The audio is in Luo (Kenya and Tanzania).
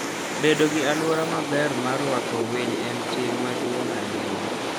Bedo gi alwora maber mar rwako winy en ting' maduong' ahinya.